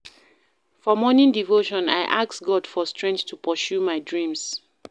For morning devotion, I ask God for strength to pursue my dreams.